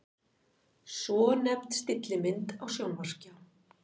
Svonefnd stillimynd á sjónvarpsskjá.